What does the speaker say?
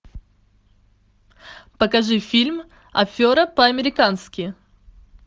покажи фильм афера по американски